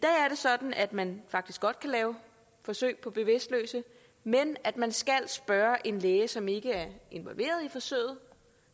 sådan at man faktisk godt kan lave forsøg på bevidstløse men at man skal spørge en læge som ikke er involveret i forsøget